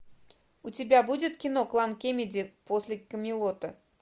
у тебя будет кино клан кеннеди после камелота